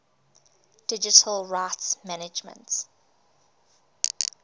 digital rights management